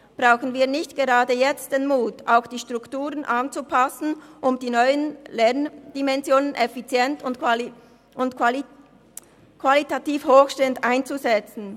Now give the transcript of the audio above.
Brauchen wir nicht gerade jetzt den Mut, die Strukturen anzupassen, um die neuen Lerndimensionen effizient und qualitativ hochstehend einzusetzen?